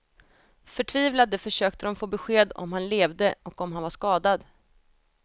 Förtvivlade försökte de få besked om han levde och om han var skadad.